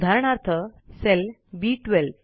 उदाहरणार्थ cell B12